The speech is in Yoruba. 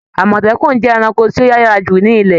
Àmọ̀tẹ́kùn jẹ ẹranko ti o yára ju ni ilẹ̀.